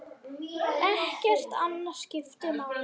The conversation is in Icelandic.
Ekkert annað skiptir máli.